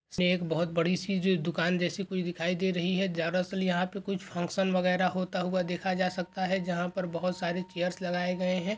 इसे एक बहुत बड़ी सी जो दुकान जैसी कुछ दिखाई दे रही है दरअसल यहां पे कुछ फंक्शन वगैरा होता हुआ देखा जा सकता है जहा पर बहुत सारे चेयर्स लगाए गए हैं।